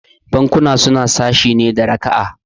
Bankuna suna sashe ne da raka'a